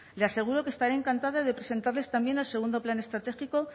le aseguro que estaré encantada de presentarles también el segundo plan estratégico